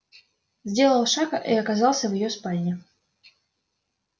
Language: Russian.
сделал шаг и оказался в её спальне